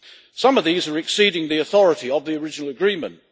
Some of these are exceeding the authority of the original agreement.